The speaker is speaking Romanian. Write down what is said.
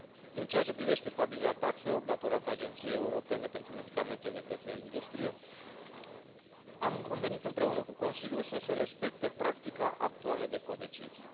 În ceea ce privește stabilirea taxelor datorate Agenției Europene pentru Medicamente de către industrie, am convenit împreună cu Consiliul să se respecte practica actuală de codecizie.